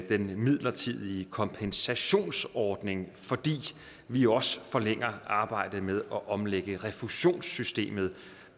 den midlertidige kompensationsordning fordi man jo også forlænger arbejdet med at omlægge refusionssystemet